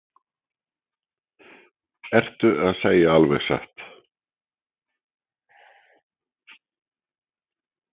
Magnús Hlynur: Ertu að segja alveg satt?